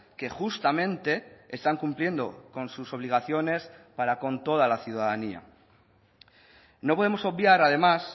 que justamente están cumpliendo con sus obligaciones para con toda la ciudadanía no podemos obviar además